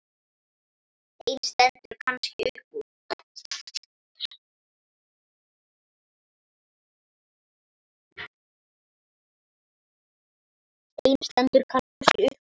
Ein stendur kannski upp úr.